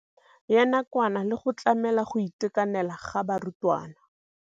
Ya nakwana le go tlamela go itekanela ga barutwana.